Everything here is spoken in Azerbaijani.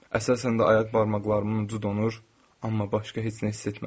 Əsasən də ayaq barmaqlarımın ucu donur, amma başqa heç nə hiss etmədim.